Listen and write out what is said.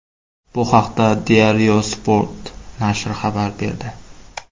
Bu haqda Diario Sport nashri xabar berdi .